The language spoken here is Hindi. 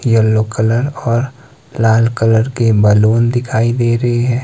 येलो कलर और लाल कलर के बलून दिखाई दे रहे है।